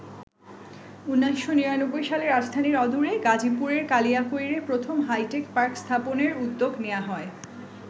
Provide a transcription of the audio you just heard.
১৯৯৯ সালে রাজধানীর অদূরে গাজীপুরের কালিয়াকৈরে প্রথম হাইটেক পার্ক স্থাপনের উদ্যোগ নেওয়া হয়।